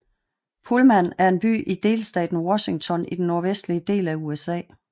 Pullman er en by i delstaten Washington i den nordvestlige del af USA